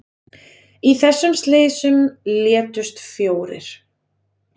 Í þessum slysum létust fjórir